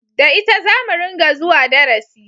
Da ita zamu ringa zuwa darasi